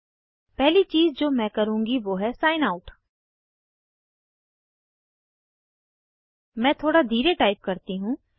पहली चीज़ जो मैं करुँगी वो है सिग्न आउट मैं थोड़ा धीरे टाइप करती हूँ